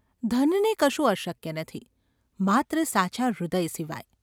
ધનને કશું અશક્ય નથી–માત્ર સાચાં હૃદય સિવાય.